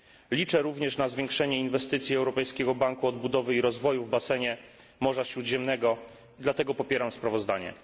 Liczę również na zwiększenie inwestycji Europejskiego Banku Odbudowy i Rozwoju w basenie Morza Śródziemnego i dlatego popieram sprawozdanie.